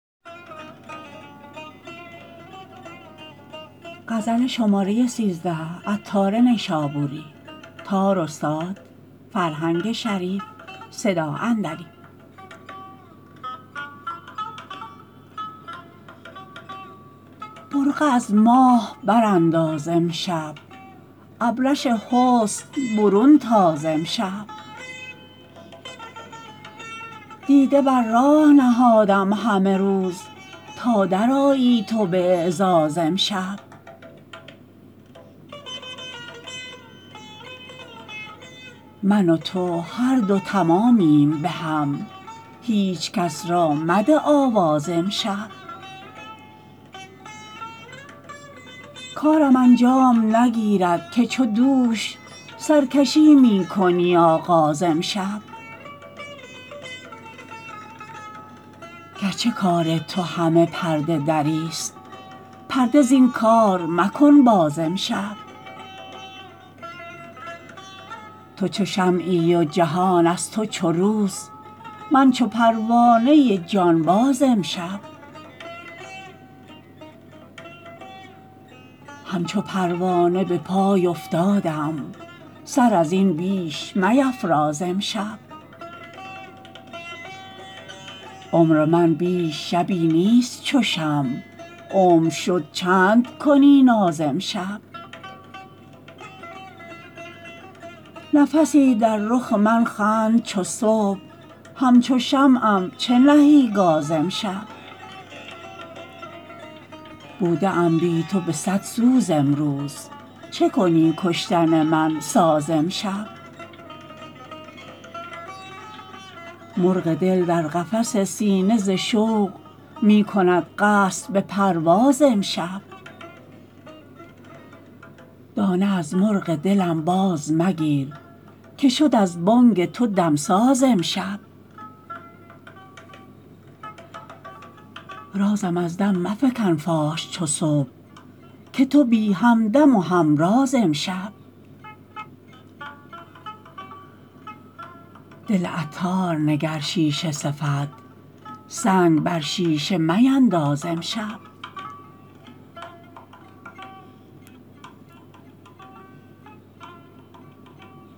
برقع از ماه برانداز امشب ابرش حسن برون تاز امشب دیده بر راه نهادم همه روز تا درآیی تو به اعزاز امشب من و تو هر دو تمامیم بهم هیچکس را مده آواز امشب کارم انجام نگیرد که چو دوش سرکشی می کنی آغاز امشب گرچه کار تو همه پرده دری است پرده زین کار مکن باز امشب تو چو شمعی و جهان از تو چو روز من چو پروانه جانباز امشب همچو پروانه به پای افتادم سر ازین بیش میفراز امشب عمر من بیش شبی نیست چو شمع عمر شد چند کنی ناز امشب نفسی در رخ من خند چو صبح همچو شمعم چه نهی گاز امشب بوده ام بی تو به صد سوز امروز چکنی کشتن من ساز امشب مرغ دل در قفس سینه ز شوق می کند قصد به پرواز امشب دانه از مرغ دلم باز مگیر که شد از بانگ تو دمساز امشب رازم از دم مفکن فاش چو صبح که تویی همدم و همراز امشب دل عطار نگر شیشه صفت سنگ بر شیشه مینداز امشب